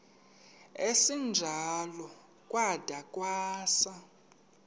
esinjalo kwada kwasa